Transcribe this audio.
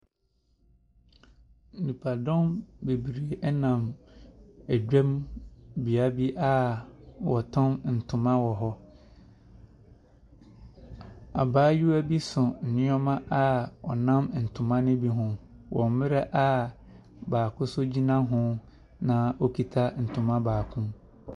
Nnipdɔm bebree ɛnam adwam bea bi a wɔtɔn ntoma wɔ hɔ. Abaayewa bi so nneɛma a ɔnam ntoma ne bi ho wɔ mmerɛ a baako nso gyina na okita ntoma baako.